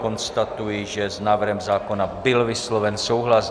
Konstatuji, že s návrhem zákona byl vysloven souhlas.